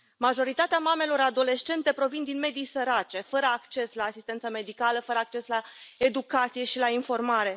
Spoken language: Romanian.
Majoritatea mamelor adolescente provin din medii sărace, fără acces la asistență medicală, fără acces la educație și la informare.